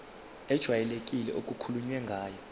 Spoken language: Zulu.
ejwayelekile okukhulunywe ngayo